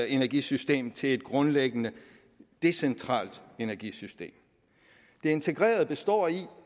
energisystem til et grundlæggende decentralt energisystem det integrerede består i